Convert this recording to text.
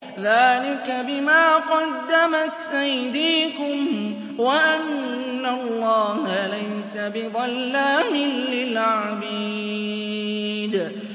ذَٰلِكَ بِمَا قَدَّمَتْ أَيْدِيكُمْ وَأَنَّ اللَّهَ لَيْسَ بِظَلَّامٍ لِّلْعَبِيدِ